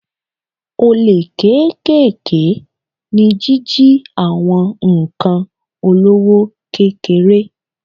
Olè kéékèèké ni jíjí àwọn ǹkan olówó kékeré.